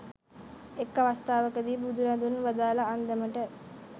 එක් අවස්ථාවක දී බුදුරදුන් වදාළ අන්දමට,